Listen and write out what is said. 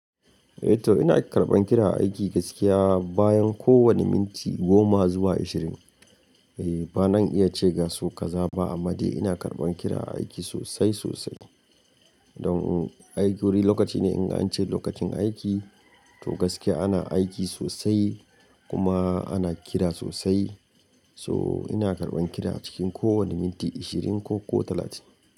Eh to ina karɓan kira aiki gaskiya bayan kowane minti goma zuwa ashirin. Eh bana iya ce ga sau kaza ba amma dai ina karɓan kira a aiki sosai sosai. Don aiki wuri lokaci ne in an ce lokacin aiki to gaskiya ana aiki sosai kuma ana kira sosai. So ina karɓan kira a cikin kowane minti ashirin ko ko talatin.